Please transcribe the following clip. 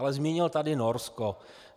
Ale zmínil tady Norsko.